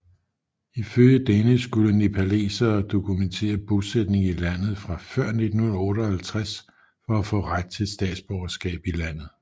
Ifølge denne skulle nepalesere dokumentere bosætning i landet fra før 1958 for at få ret til statsborgerskab i landet